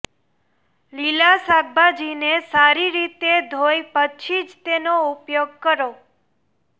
લીલાં શાકભાજીને સારી રીતે ધોઈ પછી જ તેનો ઉપયોગ કરો